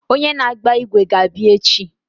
Onye na-agba ígwè ga-abịa echi.